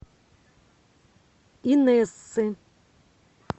инессы